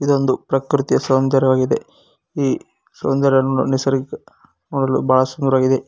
ಇದೊಂದು ಪ್ರಕೃತಿಯ ಸೌಂದರ್ಯವಾಗಿದೆ ಈ ಸೌಂದರ್ಯವನ್ನು ನಿಸರ್ಗ ನೋಡಲು ಬಹಳ ಸುಂದರವಾಗಿದೆ.